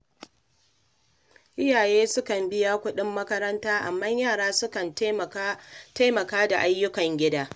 Iyaye sukan biya kuɗin makaranta, amma yara sukan taimaka da ayyukan gida.